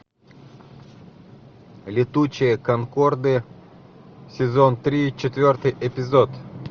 летучие конкорды сезон три четвертый эпизод